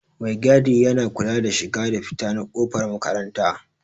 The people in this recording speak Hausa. Maigadi yana kula da shiga da fita na kofar makaranta.